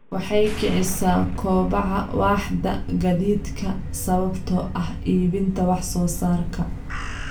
Waxay kicisaa kobaca waaxda gaadiidka sababtoo ah iibinta wax soo saarka.